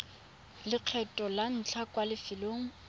lekgetlho la ntlha kwa lefelong